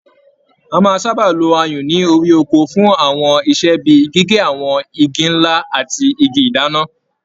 A máà sábà lo ayùn ní orí ọkọ fún àwọn iṣẹ́ bíi gígé àwọn Igi ńlá ati Igi ìdáná.